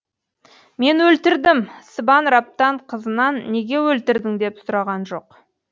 мен өлтірдім сыбан раптан қызынан неге өлтірдің деп сұраған жоқ